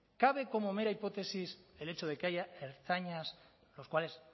cabe como mera hipótesis el hecho de que haya ertzainas los cuales